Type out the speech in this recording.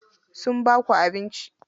Sun baku abinci?